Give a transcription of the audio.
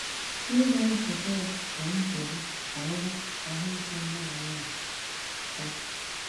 Ihe na - esote ya bụ nchegbu banyere ahụ ike nne na nna ha.